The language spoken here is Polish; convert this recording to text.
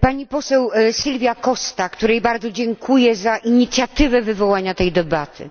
Pani poseł Silvia Costa, której bardzo dziękuję za inicjatywę wywołania tej debaty,